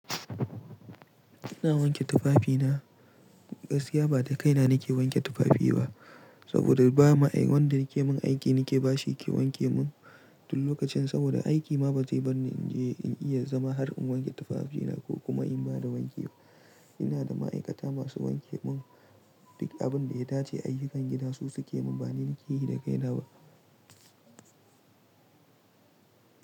Ina wanke tufafina. Gaskiya ba da kaina nake wanke tufafi ba saboda ba ma wanda yake min aiki nake bashi yake wanke min duk lokacin saboda aiki ma ba zai bar ni in iya zama har in wanke tufafina ko kuma in bada wanki. Ina da ma'aikata masu wanke mun duk abin da ya dace ayyukan gida su suke mun ba ni nake yi da kaina ba.